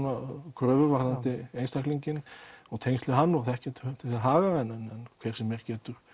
kröfur varðandi einstaklinginn og þekkja til þeirra haga en hver sem er getur